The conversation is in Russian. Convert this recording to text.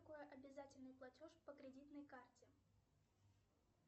сбер самые лучшие комедии две тысячи девятнадцать